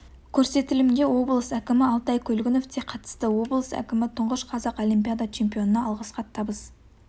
көрсетілімге облыс әкімі алтай көлгінов те қатысты облыс әкімі тұңғыш қазақ олимпиада чемпионына алғыс хат табыс